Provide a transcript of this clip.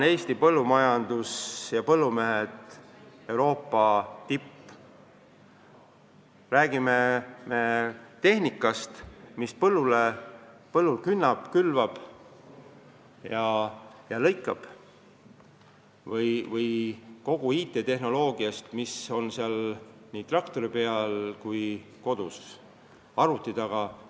Eesti põllumajandus ja põllumehed on Euroopa tipp, olgu jutt tehnikast, mis põllul künnab, külvab ja lõikab, või siis IT-lahendustest, mida nii traktori peal kui koduses arvutis kasutatakse.